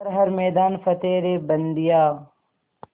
कर हर मैदान फ़तेह रे बंदेया